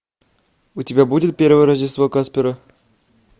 у тебя будет первое рождество каспера